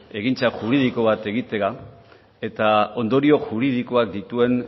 egintza juridiko bat egitea eta ondorio juridikoak dituen